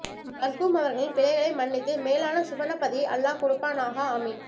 மர்ஹூம் அவர்களின் பிழைகளை மன்னித்து மேலான சுவனப்பதியை அல்லாஹ் கொடுப்பானாஹா ஆமீன்